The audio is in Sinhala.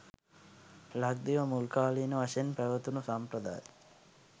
ලක්දිව මුල්කාලීන වශයෙන් පැවතුණු සම්ප්‍රදාය